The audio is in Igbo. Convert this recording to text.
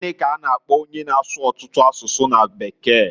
Gini k'a na - akpo onye na-asụ ọtụtụ asụsụ na bekee?